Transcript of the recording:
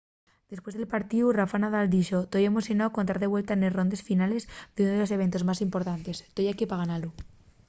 depués del partíu rafa nadal dixo: toi emocionáu con tar de vuelta nes rondes finales d’ún de los eventos más importantes. toi equí pa ganalu